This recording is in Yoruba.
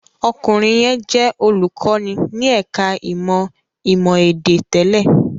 Ọkùnrin yẹn jẹ́ olùkọ́ní ní ẹ̀ka-ìmọ̀ ìmọ̀-èdè tẹ́lẹ̀.